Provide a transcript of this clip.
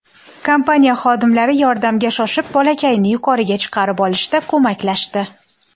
Kompaniya xodimlari yordamga shoshib, bolakayni yuqoriga chiqarib olishda ko‘maklashdi.